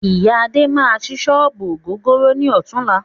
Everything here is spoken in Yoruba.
Iya Adé máa sí sọ́ọ́bù ògógóró ni ọ̀tunla